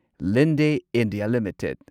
Linde India limited